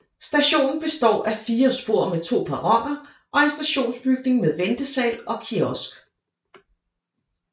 Stationen består af fire spor med to perroner og en stationsbygning med ventesal og kiosk